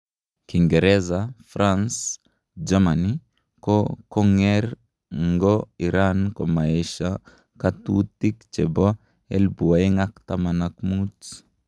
Kiingerza, france, Germany, ko konger ngo iran komaesha katutik chepo 2015